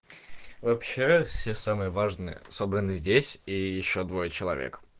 вообще все самые важные собранны здесь и ещё двое человек